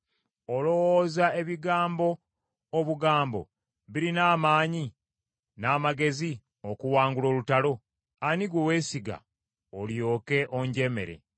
Olowooza ebigambo obugambo birina amaanyi n’amagezi okuwangula olutalo. Ani gwe weesiga olyoke onjemere?